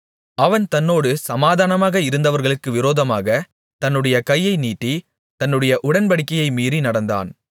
அவன் தன்னோடு சமாதானமாக இருந்தவர்களுக்கு விரோதமாகத் தன்னுடைய கையை நீட்டி தன்னுடைய உடன்படிக்கையை மீறி நடந்தான்